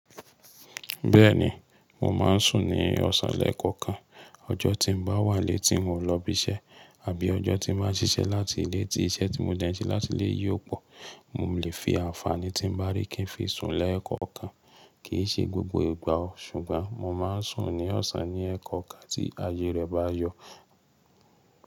Bẹ́ẹ̀ni, mo máa ń sùn ní ọ̀sàn lẹ̀kọ̀kan. Ọjọ́ tí n bá wàn ilé tí n ò lọ ibi iṣẹ́ àbí ọjọ́ tí máa ṣíṣẹ́ láti ilé tí iṣẹ́ tí mo dèn se ti láti lé yìí ò pọ̀, mo lè fi àǹfààní tí ń bá ri kí n fi sùn lẹ́ẹ̀kọ̀kan. Kì í ṣe gbogbo ìgbà o, ṣùgbọ́n mo máa ń sùn ní ọ̀sàn ní ẹ̀kọ̀kan tí ayé rẹ́ bá yọ.